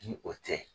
Ni o tɛ